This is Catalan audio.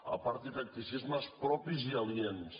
aparti tacticismes propis i aliens